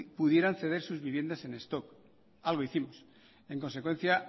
pudieran ceder sus viviendas en stock algo hicimos en consecuencia